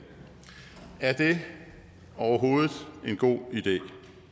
er det overhovedet en god idé